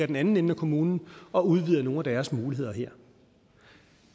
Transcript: den anden ende af kommunen og udvider nogle af deres muligheder det er